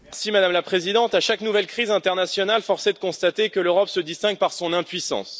Madame la Présidente, à chaque nouvelle crise internationale, force est de constater que l'Europe se distingue par son impuissance.